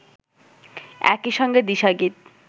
একই সঙ্গে দিশা গীত